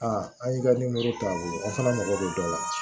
an y'i ka ta o fana mago bɛ dɔ la